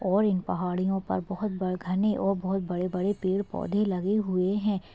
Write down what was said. और इन पहाड़ियों पर बोहोत ब घने और बोहोत बड़े-बड़े पेड़-पौधे लगे हुए है ।